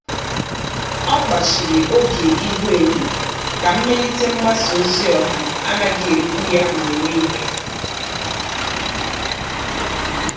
Ọ́ kpàchị̀rị̀ oge ihuenyo kà mmelite mgbasa ozi ọha ánàghị́ èríkpú ya mgbe nìile.